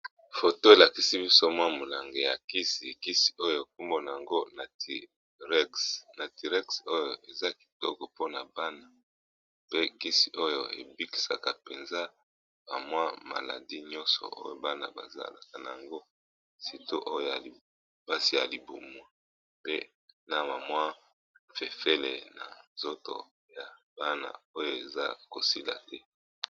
Foto elakisi biso mwa molange ya kisi ekisi oyo ekumbona yango na tirex oyo eza kitoko mpona bana pe kisi oyo ebikisaka mpenza bamwa maladi nyonso oyo bana bazalaka na yango sito oyo ya lipasi ya libumwu pe na mamwa fefele na nzoto ya bana oyo eza kosila te.